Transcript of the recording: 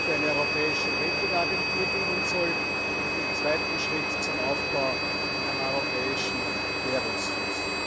für eine Europäische Rating Agentur dienen soll und im zweiten Schritt zum Aufbau eines Europäischen Währungsfonds.